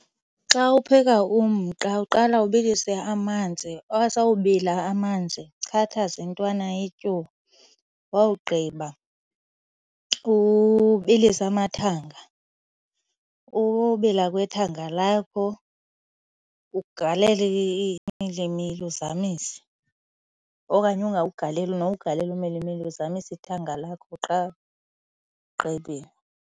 Xa upheka umqa uqala ubilise amanzi, asawubila amanzi uchathaze intwana yetyuwa. Wawugqiba ubilise amathanga. Ukubila kwethanga lakho ugalele umilimili uzamise okanye ungawugaleli nowugalela umilimili uzamise ithanga lakho qha ugqibile.